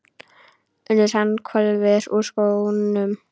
UNNUR: Hann hvolfir úr skónum.